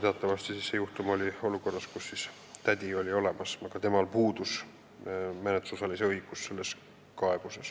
Teatavasti oli kõnealuse juhtumi puhul tegu olukorraga, kus lapsel oli tädi olemas, aga tal puudus õigus olla selles kaebuses menetlusosaline.